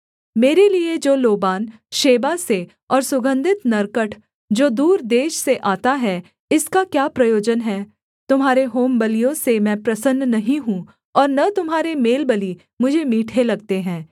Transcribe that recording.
मेरे लिये जो लोबान शेबा से और सुगन्धित नरकट जो दूर देश से आता है इसका क्या प्रयोजन है तुम्हारे होमबलियों से मैं प्रसन्न नहीं हूँ और न तुम्हारे मेलबलि मुझे मीठे लगते हैं